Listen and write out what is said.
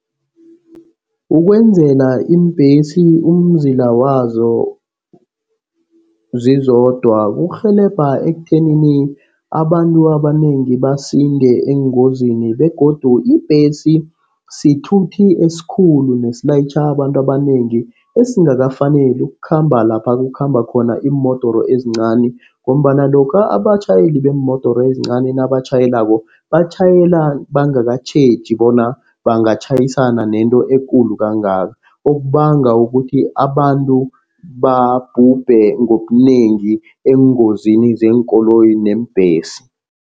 Ukwenzela iimbhesi umzila wazo zizodwa kurhelebha ekutheni abantu abanengi basinde engozini begodu ibhesi sithuthi esikhulu nesilayitjha abantu abanengi esingakafaneli ukukhamba lapha kukhamba khona iimodoro ezincani ngombana lokha abatjhayeli beemodoro ezincani nabatjhayelako, batjhayela bangakatjheji bona bangatjhayisana nento ekulu kangaka. Okubanga ukuthi abantu babhubhe ngobunengi engozini zeenkoloyi neembhesi.